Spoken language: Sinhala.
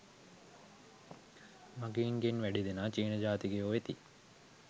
මගීන්ගෙන් වැඩි දෙනා චීන ජාතිකයෝ වෙති